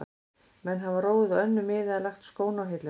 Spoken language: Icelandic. Menn hafa róið á önnur mið eða lagt skóna á hilluna.